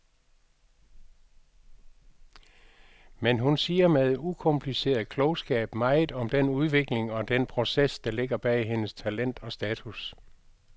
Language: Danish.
Men hun siger med en ukompliceret klogskab meget om den udvikling og den proces, der ligger bag hendes talent og status.